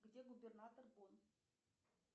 где губернатор бон